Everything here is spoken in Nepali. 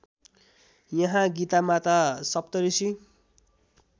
यहाँ गीतामाता सप्तऋषि